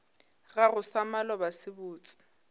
gago sa maloba se botse